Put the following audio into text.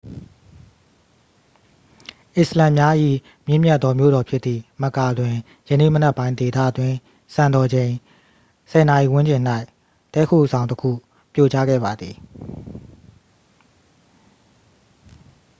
အစ္စလာမ်များ၏ မြင့်မြတ်သောမြို့တော်ဖြစ်သည့် မက္ကာ တွင် ယနေ့မနက်ပိုင်း ဒေသတွင်းစံတော်ချိန် 10 နာရီဝန်းကျင်၌ တည်းခိုဆောင်တစ်ခု ပြိုကျခဲ့ပါသည်